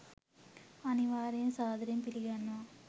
අනිවාර්යෙන් සාදරයෙන් පිලිගන්නවා